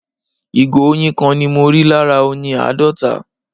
ìgò oyin kan ni mọ rí lára oyin àádọta